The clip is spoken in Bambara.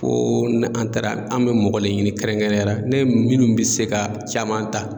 Koo ni an taara an me mɔgɔ le ɲini kɛrɛnkɛrɛnnenya la ne minnu be se ka caman ta